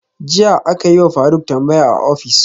Jiya akayiwa faruk tambaya a office